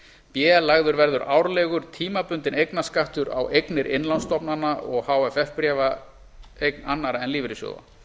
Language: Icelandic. árið b lagður verði árlegur tímabundinn eignarskattur á eignir innlánsstofnana og hff bréfa eign annarra en lífeyrissjóða